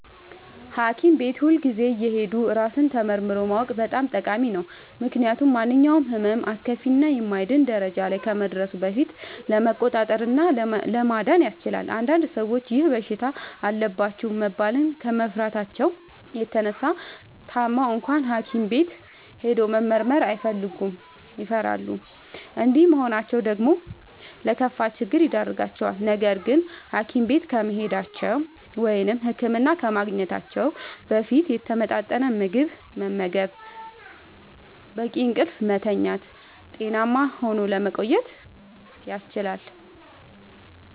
ሀኪም ቤት ሁልጊዜ እየሄዱ ራስን ተመርምሮ ማወቅ በጣም ጠቃሚ ነው። ምክንያቱም ማንኛውም ህመም አስከፊ እና የማይድን ደረጃ ላይ ከመድረሱ በፊት ለመቆጣጠር እና ለመዳን ያስችላል። አንዳንድ ሰዎች ይህ በሽታ አለባችሁ መባልን ከመፍራታቸው የተነሳ ታመው እንኳን ሀኪም ቤት ሄዶ መመርመር አይፈልጉም ይፈራሉ። እንዲህ መሆናቸው ደግሞ ለከፋ ችግር ይዳርጋቸዋል። ነገርግን ሀኪም ቤት ከመሄዳቸው(ህክምና ከማግኘታቸው) በፊት የተመጣጠነ ምግብ በመመገብ፣ በቂ እንቅልፍ በመተኛት ጤናማ ሆኖ ለመቆየት ያስችላል።